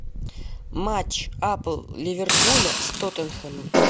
матч апл ливерпуля с тоттенхэмом